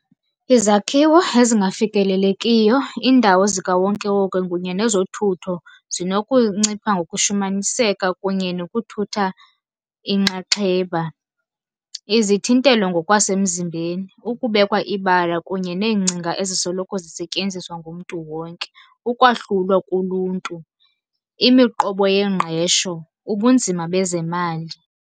Izakhiwo ezingafikelelekiyo, iindawo zikawonkewonke kunye nezothutho zinokuncipha ngokushumaniseka kunye nokuthutha inxaxheba. Izithintelo ngokwasemzimbeni, ukubekwa ibala kunye neengcinga ezisoloko zisetyenziswa ngumntu wonke. Ukwahlulwa kuluntu, imiqobo yengqesho, ubunzima bezemali.